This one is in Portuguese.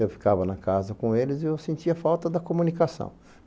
Eu ficava na casa com eles e eu sentia falta da comunicação.